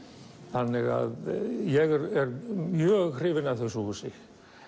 þannig að ég er mjög hrifinn af þessu húsi